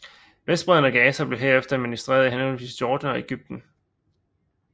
Vestbredden og Gaza blev herefter administreret af henholdsvis Jordan og Ægypten